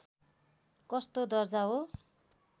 कस्तो दर्जा हो